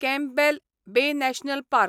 Campbell Bay National park